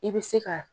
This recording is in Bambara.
I bɛ se ka